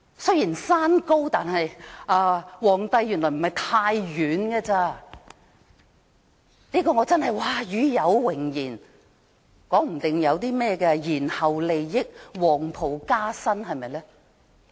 雖然山高，但皇帝原來不太遠，真是與有榮焉，說不定還會有些延後利益，會否黃袍加身？